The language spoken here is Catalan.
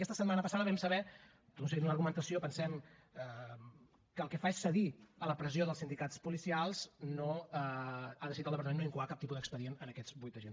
aquesta setmana passada vam saber seguint una argumentació pensem que el que fa és cedir a la pressió dels sindicats policials que ha decidit el departament no incoar cap tipus d’expedient a aquests vuit agents